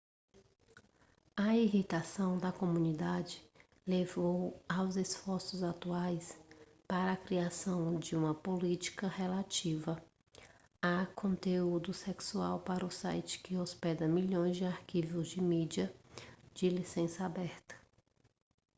a irritação da comunidade levou aos esforços atuais para a criação de uma política relativa a conteúdo sexual para o site que hospeda milhões de arquivos de mídia de licença aberta